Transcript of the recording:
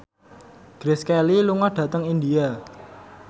Grace Kelly lunga dhateng India